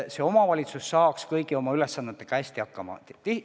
Aga omavalitsus saab kõigi oma ülesannetega hästi hakkama.